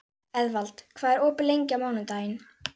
Eðvald, hvað er opið lengi á mánudaginn?